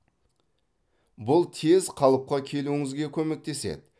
бұл тез қалыпқа келуіңізге көмектеседі